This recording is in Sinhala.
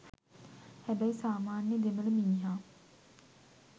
හැබැයි සාමාන්‍යය දෙමළ මිනිහා